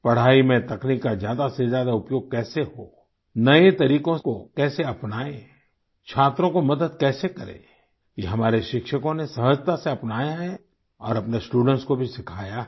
पढाई में तकनीक का ज्यादा से ज्यादा उपयोग कैसे हो नए तरीकों को कैसे अपनाएँ छात्रों को मदद कैसे करें यह हमारे शिक्षकों ने सहजता से अपनाया है और अपने स्टूडेंट्स को भी सिखाया है